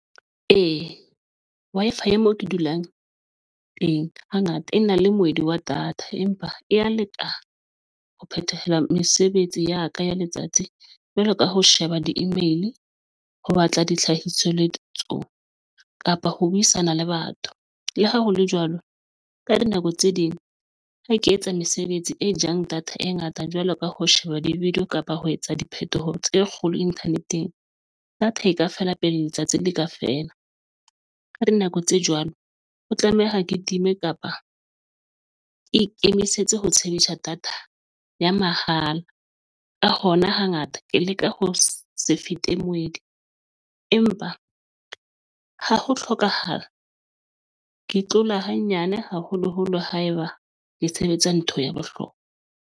Ee, Wi-Fi ya mo ke dulang teng hangata e na le moedi wa data, empa e ya lekana ho phethaha mesebetsi ya ka ya letsatsi jwalo ka ho sheba di-email, ho batla ditlhahiso le ditsong kapa ho buisana le batho. Le ha ho le jwalo, ka dinako tse ding, ha ke etsa mesebetsi e jang data e ngata jwalo ka ho sheba di-video kapa ho etsa diphetoho tse kgolo inthaneteng, data e ka feela pele letsatsi le ka feela. Ka dinako tse jwalo o tlameha ke time kapa ke ikemisetse ho data ya mahala ka hona hangata ke leke ho se fete moedi, empa ha ho hlokahala ke tlola hanyane, haholoholo haeba ke sebetsa ntho ya bohlokwa.